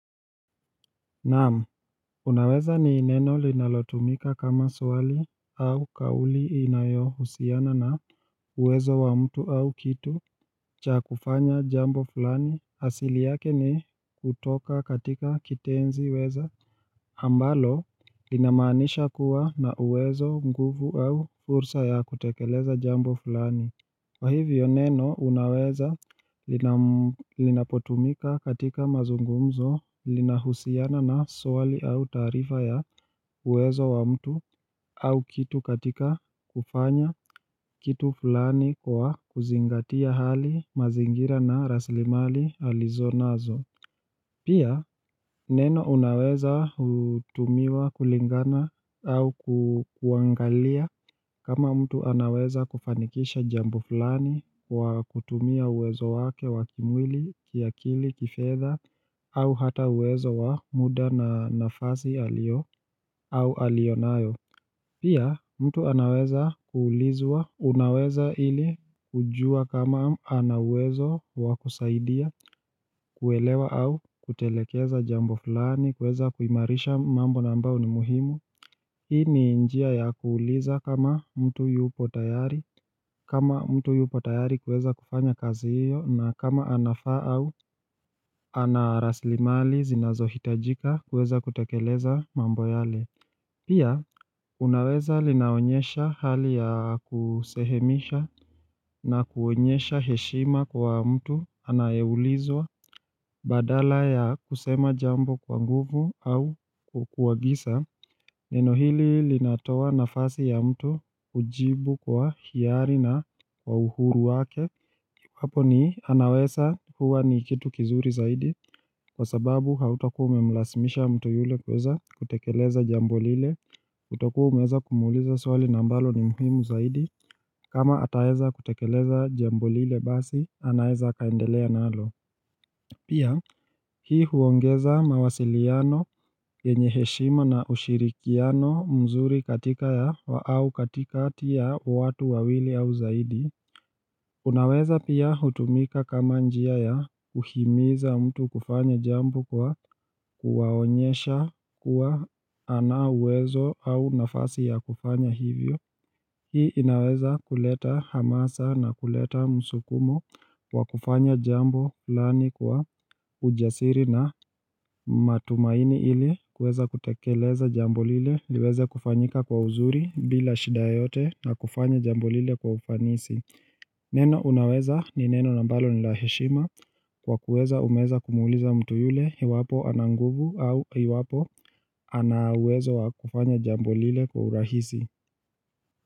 Naam, unaweza ni neno linalotumika kama swali au kauli inayo husiana na uwezo wa mtu au kitu cha kufanya jambo fulani, asili yake ni hutoka katika kitenzi weza, ambalo linamanisha kuwa na uwezo, nguvu au fursa ya kutekeleza jambo fulani. Kwa hivyo neno unaweza Linapotumika katika mazungumzo lina husiana na swali au taarifa ya uwezo wa mtu au kitu katika kufanya kitu fulani kwa kuzingatia hali, mazingira na raslimali alizo nazo Pia, neno unaweza hutumiwa kulingana au kuangalia kama mtu anaweza kufanikisha jambo fulani kwa kutumia uwezo wake wakimwili, kiakili, kifedha. Au hata uwezo wa muda na nafasi alio au alionayo Pia mtu anaweza kuulizwa, unaweza ili kujua kama ana uwezo wakusaidia, kuelewa au kutelekeza jambo fulani, kuweza kuimarisha mambo na ambao ni muhimu. Hii ni njia ya kuuliza kama mtu yupo tayari, kama mtu yupo tayari kuweza kufanya kazi hiyo na kama anafaa au ana raslimali zinazo hitajika kuweza kutekeleza mambo yale. Pia, unaweza linaonyesha hali ya kusehemisha na kuonyesha heshima kwa mtu anayeulizwa badala ya kusema jambo kwa nguvu au kukuwagisa Neno hili linatoa nafasi ya mtu kujibu kwa hiari na wa uhuru wake. Hapo ni anaweza huwa ni kitu kizuri zaidi kwa sababu hautakuwa umemlazimisha mtu yule kuweza kutekeleza jambo lile utakua umeza kumuuliza swali na ambalo ni muhimu zaidi kama ataweza kutekeleza jambo lile basi anaeza akaendelea nalo. Pia hii huongeza mawasiliano yenye heshima na ushirikiano mzuri katika ya wa au katikati ya watu wawili au zaidi. Unaweza pia hutumika kama njia ya kuhimiza mtu kufanya jambo kwa kuwaonyesha kuwa anauwezo au nafasi ya kufanya hivyo. Hii inaweza kuleta hamasa na kuleta msukumo kwa kufanya jambu lani kwa ujasiri na matumaini ili kuweza kutekeleza jambo lile liweze kufanyika kwa uzuri bila shida yote na kufanya jambu lile kwa ufanisi. Neno unaweza ni neno na ambalo nila heshima kwa kuweza umeweza kumuuliza mtu yule iwapo ananguvu au iwapo. Ana uwezo wa kufanya jambo lile kwa urahisi.